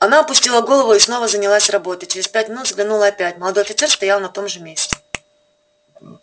она опустила голову и снова занялась работой через пять минут взглянула опять молодой офицер стоял на том же месте